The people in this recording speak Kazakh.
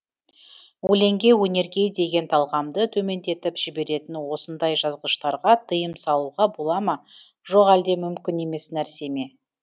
өлеңге өнерге деген талғамды төмендетіп жіберетін осындай жазғыштарға тиым салуға бола ма жоқ әлде мүмкін емес нәрсе ме